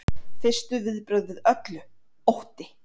Fyrstu viðbrögð við öllu: Ótti.